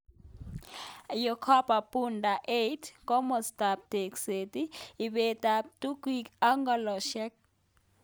Yohana Budeba 8. Komastap Tekset, Ipet ap tukik ak ng'ololset